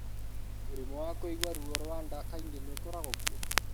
Mũrimũ wa kũigua ruo rwa nda kaingĩ nĩ ũkoragwo kuo.